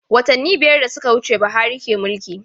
Watanni biyar da suka wuce Buhari ke mulki.